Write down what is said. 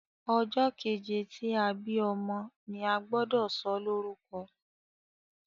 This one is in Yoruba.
ojó keje tí a bí ọmọ ní agbodo so lórúko